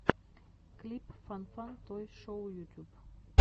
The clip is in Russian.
клип фан фан той шоу ютуб